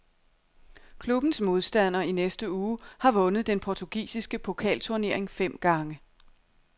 Klubbens modstander i næste uge har vundet den portugisiske pokalturnering fem gange.